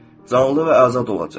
Canlı və azad olacaq.